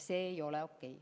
See ei ole okei.